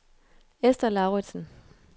Ester Lauritsen